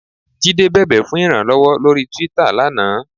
Jídé bẹ̀bẹ̀ fún ìrànlọ́wọ́ lórí Twitter lánàá.